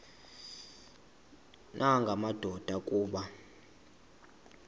nanga madoda kuba